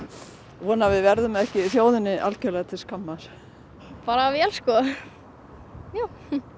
vona að við verðum ekki þjóðinni algjörlega til skammar bara vel sko já